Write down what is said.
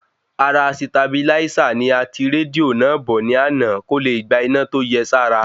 Ara sitabiláísà ni a ti rédíò náà bọ̀ ní àná kóle gba iná tó yẹ sára